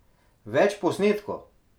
Več v posnetku!